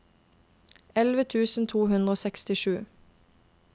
elleve tusen to hundre og sekstisju